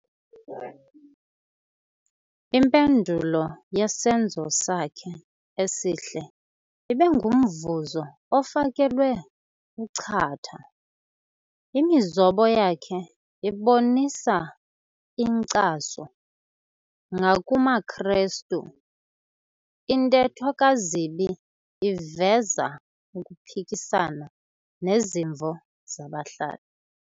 Impendulo yesenzo sakhe esihle ibe ngumvuzo ofakelwe uchatha. Imizobo yakhe ibonisa inkcaso ngakumaKrestu, intetho kaZibi iveza ukuphikisana nezimvo zabahlali.